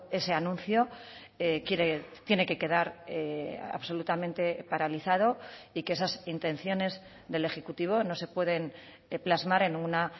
ese anuncio tiene que quedar absolutamente paralizado y que esas intenciones del ejecutivo no se pueden plasmar en una